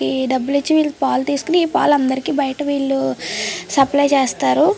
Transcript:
ఏ డబ్బులు ఇచ్చి వీళ్లు పాలు తీసుకుని పాలు అందరికీ బయట వీళ్ళు సప్లై చేస్తారు.